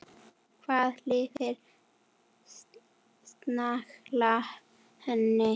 Hvað lifir snæugla lengi?